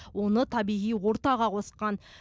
оны табиғи ортаға қосқан